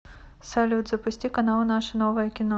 салют запусти канал наше новое кино